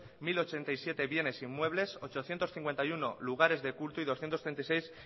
mil ochenta y siete bienes e inmuebles ochocientos cincuenta y uno lugares de culto y doscientos ochenta y seis